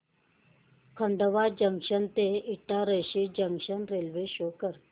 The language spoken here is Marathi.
खंडवा जंक्शन ते इटारसी जंक्शन रेल्वे शो कर